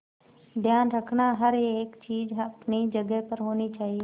ध्यान रखना हर एक चीज अपनी जगह पर होनी चाहिए